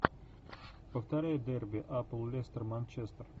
повторяй дерби апл лестер манчестер